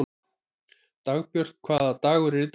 Dagbjörg, hvaða dagur er í dag?